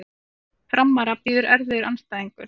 Framara bíður erfiður andstæðingur